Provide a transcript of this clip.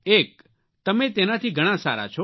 એક તમે તેનાથી ઘણા સારા છો